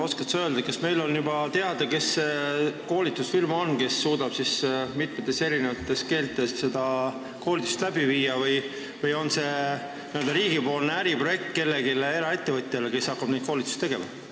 Oskad sa öelda, kas on juba teada, kes see koolitusfirma on, kes suudab siis mitmes keeles seda koolitust läbi viia, või on see n-ö riigi äriprojekt mõne eraettevõtja jaoks, kes hakkab neid koolitusi tegema?